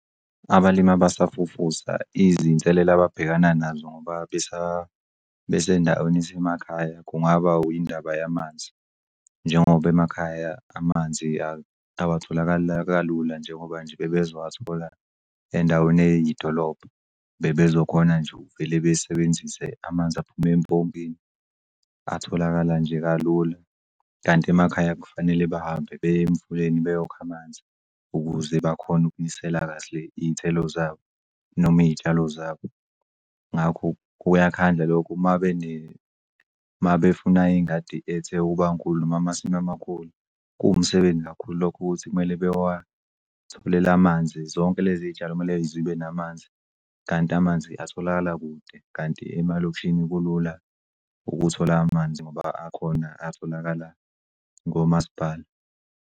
Abalimi abasafufusa izinselelo ababhekana nazo ngoba besendaweni esemakhaya kungaba indaba yamanzi. Njengoba emakhaya amanzi awatholakali kalula njengoba nje bebezowathola endaweni eyidolobha bebezokhona nje uvele besebenzise amanzi aphum' empompini atholakala nje kalula kanti emakhaya kufanele bahambe beye emfuleni beyokha amanzi ukuze bakhone ukunisela kahle iy'thelo zabo noma iy'tshalo zabo. Ngakho kuyakhandla lokho mabefuna iy'ngadi ethe ukuba nkulu noma amasimu amakhulu kuwumsebenzi kakhulu lokho ukuthi kumele amanzi. Zonke lezi tshalo kumele zibe namanzi kanti amanzi atholakala kude kanti emalokishini kulula ukuthola amanzi ngoba akhona atholakala ngoMasipala.